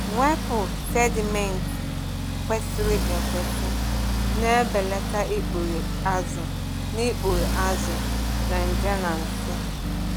Mwepụ sedimenti kwesịrị ekwesị na-ebelata ikpughe azụ na ikpughe azụ na nje na nsị.